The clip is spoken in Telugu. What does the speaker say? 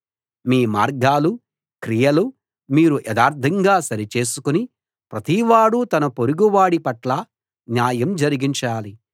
మీ మార్గాలు క్రియలు మీరు యథార్థంగా సరిచేసుకుని ప్రతివాడూ తన పొరుగువాడి పట్ల న్యాయం జరిగించాలి